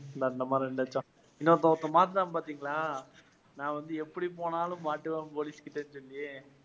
இன்னொருத்தன் ஒருத்தன் மாட்டினான் பாத்தீங்களா நான் வந்து எப்படி போனாலும் மாட்டுவேன் போலீஸ்கிட்டன்னு சொல்லி.